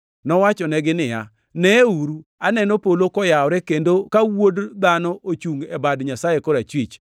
Nowachonegi niya, “Neuru, aneno polo koyawore kendo ka Wuod Dhano ochungʼ e bad Nyasaye korachwich.”